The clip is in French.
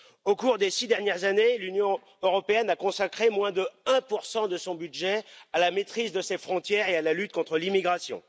Au cours des six dernières années, l'Union européenne a consacré moins de 1 de son budget à la maîtrise de ses frontières et à la lutte contre l'immigration.